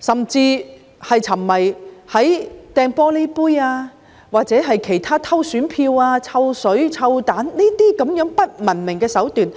搶東西、擲玻璃杯、偷選票、潑臭水、擲臭蛋等不文明的手段呢？